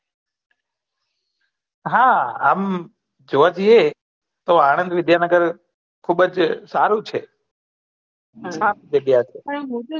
હા આમ જોયા જયીયે તો આનંદ વિદ્યાનગર ખુબજ સારું છે મસ્ત જગ્યા છે